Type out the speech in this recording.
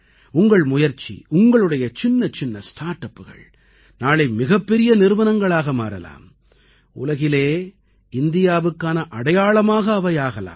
உங்களது முயற்சி உங்களுடைய சின்னச்சின்ன ஸ்டார்ட் அப்புகள் நாளை மிகப்பெரிய நிறுவனங்களாக மாறலாம் உலகிலே இந்தியாவுக்கான அடையாளமாக அவை ஆகலாம்